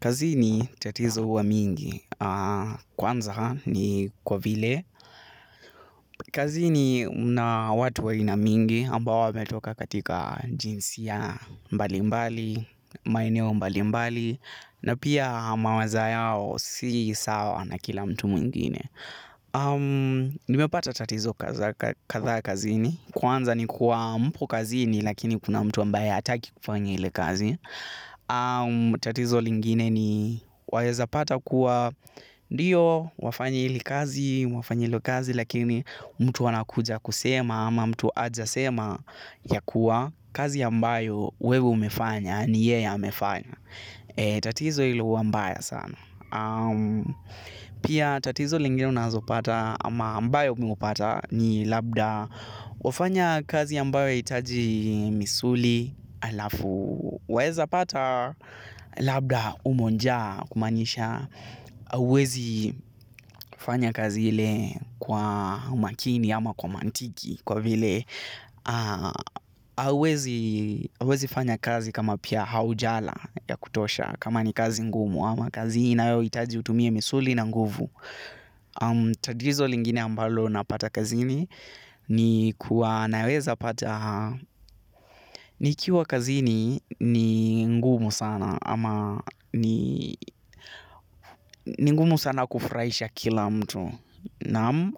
Kazini tatizo huwa mingi. Kwanza ni kwa vile. Kazini mna watu wa aina mingi ambao wametoka katika jinsia mbali mbali, maeneo mbali mbali na pia mawaza yao si sawa na kila mtu mwingine. Nimepata tatizo kadhaa kazini. Kwanza ni kuwa mpo kazini lakini kuna mtu ambaye hataki kufanya ili kazi. Tatizo lingine ni waeza pata kuwa ndio wafanya ili kazi wafanya ilo kazi lakini mtu anakuja kusema ama mtu ajasema ya kuwa kazi ambayo wewe umefanya. Ni yeye amefanya. Tatizo ilo huwa mbaya sana. Pia tatizo lingine unazopata ama ambayo umepata ni labda wafanya kazi ambayo haitaji misuli alafu waeza pata labda umo njaa kumaanisha hauwezi fanya kazi ile kwa makini ama kwa mantiki kwa vile huwezi fanya kazi kama pia haujala ya kutosha kama ni kazi ngumu ama kazi inayo itaji utumie misuli na nguvu. Tatizo lingine ambalo napata kazini ni kuwa naweza pata nikiwa kazi ni ni ngumu sana ama ni ngumu sana kufurahisha kila mtu. Naam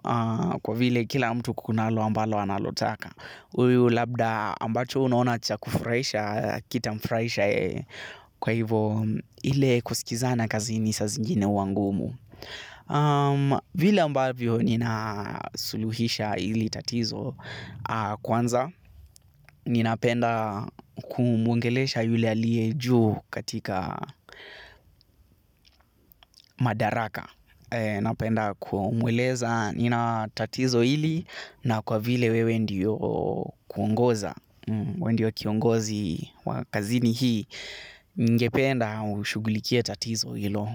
kwa vile kila mtu kunalo ambalo analotaka huyu labda ambacho unuona cha kufurahisha hakita mfurahisha yeye kwa hivyo. Ile kusikizana kazini saa zingine huwa ngumu vile ambavyo nina suluhisha ili tatizo kwanza. Ninapenda kumwongelesha yule aliye juu katika madaraka napenda kumweleza nina tatizo ili na kwa vile wewe ndio kuongoza wendio kiongozi wa kazini hii ningependa unishughulikie tatizo hilo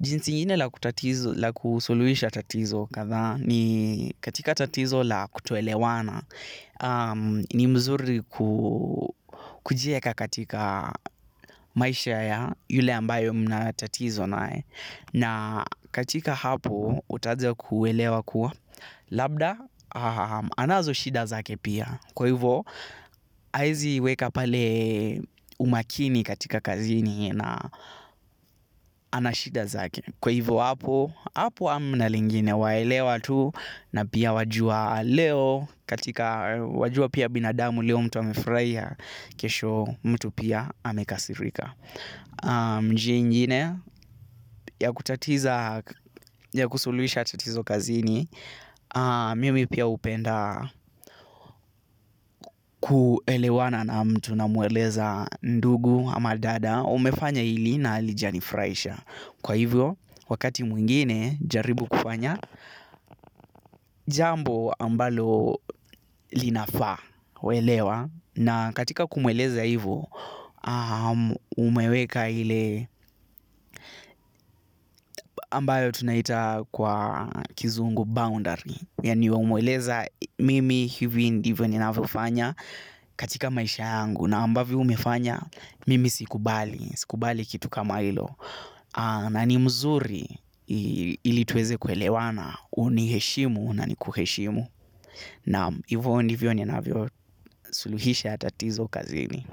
jinsi ingine la kusuruhisha tatizo kadhaa ni katika tatizo la kutoelewana ni mzuri kujieka katika maisha ya yule ambaye mna tatizo naye na katika hapo utaja kuelewa kuwa labda anazo shida zake pia. Kwa hivyo, haezi weka pale umakini katika kazini na anashida zake. Kwa hivyo hapo hamna lingine waelewa tu na pia wajua leo katika wajua pia binadamu leo mtu amefurahia kesho pia mtu amekasirika njia ingine ya kutatiza ya kusuluhisha tatizo kazini. Mimi pia upenda kuelewana na mtu na mweleza ndugu ama dada umefanya ili nahalijanifurahisha. Kwa hivyo wakati mwingine jaribu kufanya. Jambo ambalo linafaa waelewa na katika kumweleza hivyo umeweka ile ambayo tunaita kwa kizungu boundary. Yani wamweleza mimi hivi ndivyo ninavyofanya katika maisha yangu na ambavyo umefanya mimi sikubali, sikubali kitu kama hilo na ni mzuri ili tuweze kuelewana uniheshimu nani kuheshimu na hivyo hivyo ninavyosuluhisha tatizo kazini.